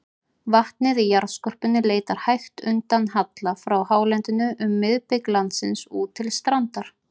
Vatnið í jarðskorpunni leitar hægt undan halla frá hálendinu um miðbik landsins út til strandar.